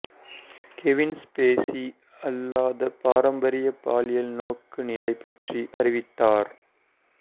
Kevin Spacey அல்லாத பாரம்பரிய பாலியல் நோக்குநிலை பற்றி அறிவித்தார்